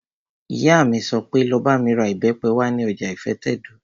Ìyá mi sọ pé, 'Lọ bá mi ra ìbẹ́pẹ wá ní ọjà ìfẹ́tẹ̀dó!